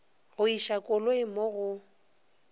go iša koloi mo go